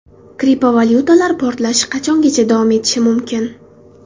Kriptovalyutalar portlashi qachongacha davom etishi mumkin?